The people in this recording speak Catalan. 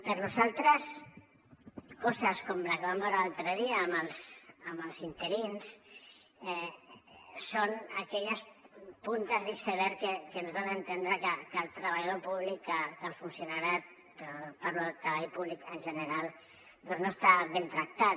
per nosaltres coses com la que vam veure l’altre dia amb els interins són aquelles puntes de l’iceberg que ens donen a entendre que el treballador públic que el funcionariat parlo del treball públic en general doncs no està ben tractat